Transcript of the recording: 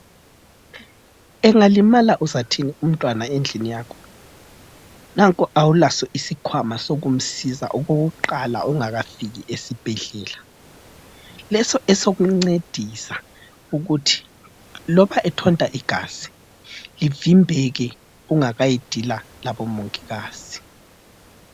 Engalimala uzathini umntwana endlini yakho? Nanko awula isikhwama esikumsiza okokuqala ungakafiki esibhedlela, leso edokumncedisa ukuthi loba ethonta igazi kuvimbeke ungakayidila labomongikazi.